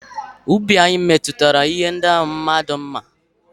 Ubi anyị mepụtara ihe ndị ahụ mmadụ mma.